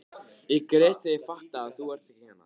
Ég græt þegar ég fatta að þú ert ekki hérna.